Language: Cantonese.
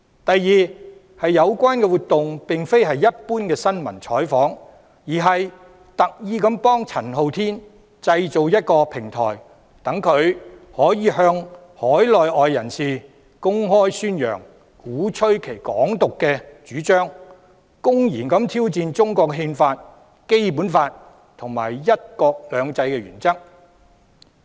第二，有關活動並非一般新聞採訪，而是特意製造一個平台，幫助陳浩天向海內外人士公開宣揚及鼓吹"港獨"主張，公然挑戰中國《憲法》、《基本法》及"一國兩制"的原則。